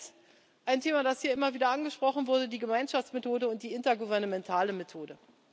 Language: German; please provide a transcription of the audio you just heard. Zweitens ein Thema, das hier immer wieder angesprochen wurde die Gemeinschaftsmethode und die intergouvernementale Methode.